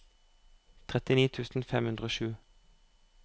trettini tusen fem hundre og sju